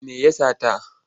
Me ya sata?